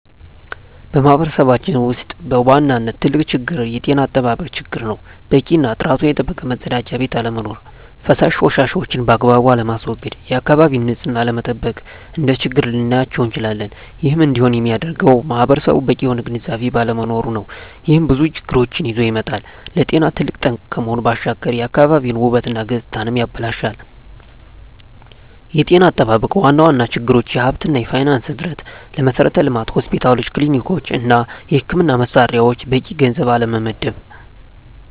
በማህበረሰባችን ውስጥ በዋናነት ትልቁ ችግር የጤና አጠባበቅ ችግር ነው። በቂ እና ጥራቱን የጠበቀ መፀዳጃ ቤት አለመኖር። ፈሳሽ ቆሻሻዎችን ባግባቡ አለማስዎገድ፣ የአካባቢን ንፅህና አለመጠበቅ፣ እንደ ችግር ልናያቸው እንችላለን። ይህም እንዲሆን የሚያደርገውም ማህበረሰቡ በቂ የሆነ ግንዝቤ ባለመኖሩ ነው። ይህም ብዙ ችግሮችን ይዞ ይመጣል። ለጤና ትልቅ ጠንቅ ከመሆኑ ባሻገር የአካባቢን ውበት እና ገፅታንም ያበላሻል። የጤና አጠባበቅ ዋና ዋና ችግሮች የሀብት እና የፋይናንስ እጥረት፣ ለመሠረተ ልማት (ሆስፒታሎች፣ ክሊኒኮች) እና የሕክምና መሣሪያዎች በቂ ገንዘብ አለመመደብ።